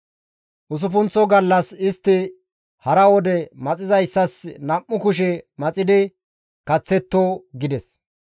Usuppunththo gallas istti hara wode maxizayssas nam7u kushe maxidi kaththetto» gides.